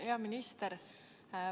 Hea minister!